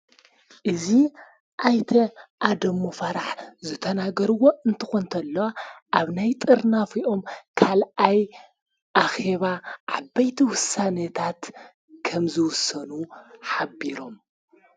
እዙ ኣይተ ኣደሙ ፋራሕ ዘተናገርዎ እንተኾ እንተለ ኣብ ናይ ጥርናፊኦም ካልኣይ ኣኼባ ዓበይቲ ውሳነታት ከምዝውሰኑ ሓቢሮም።